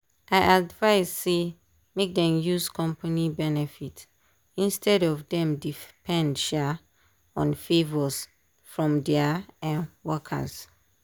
i advice say make dem use company benefit instead of dem depend um on favors from dia um workers.